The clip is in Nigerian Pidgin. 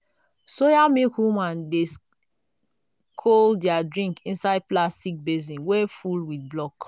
soya milk woman dey col their drink inside plastic basin wey full with block.